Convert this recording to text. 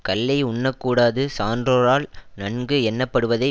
கள்ளை உண்ணக் கூடாது சான்றோரால் நன்கு எண்ணப்படுவதை